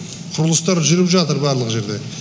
құрылыстар жүріп жатыр барлық жерде